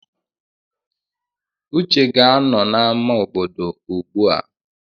Uche ga-anọ n'ámá obodo ugbua.